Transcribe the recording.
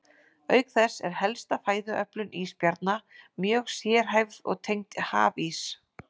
Auk þess er helsta fæðuöflun ísbjarna mjög sérhæfð og tengd hafís.